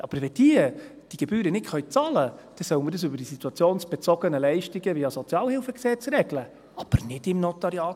Aber wenn sie die Gebühren nicht bezahlen können, dann soll man das über die situationsbezogenen Leistungen via Sozialhilfegesetz regeln, aber nicht im NG.